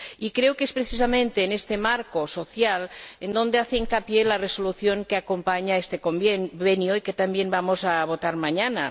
Creo que es precisamente en este marco social en el que hace hincapié la Resolución que acompaña a este Convenio, y que también vamos a votar mañana.